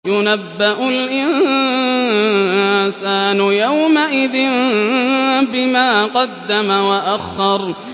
يُنَبَّأُ الْإِنسَانُ يَوْمَئِذٍ بِمَا قَدَّمَ وَأَخَّرَ